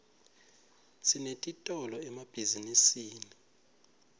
sinetitolo emabhizinisini